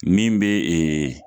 Min bɛ